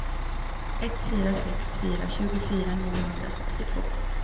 ett fyra sex fyra tjugofyra niohundrasextiotvå